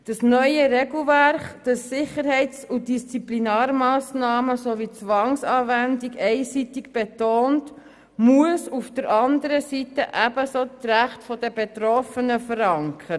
Das neue Regelwerk, das Sicherheits- und Disziplinarmassnahmen sowie Zwangsanwendung einseitig betont, muss auf der anderen Seite ebenso das Recht der Betroffenen verankern.